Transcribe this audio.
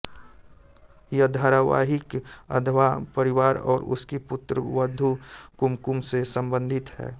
यह धारावाहिक वधवा परिवार और उसकी पुत्रवधु कुमकुम से संबंधित है